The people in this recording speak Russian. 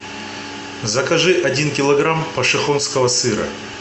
закажи один килограмм пошехонского сыра